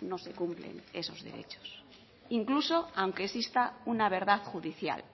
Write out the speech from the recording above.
no se cumplen esos derechos incluso aunque exista una verdad judicial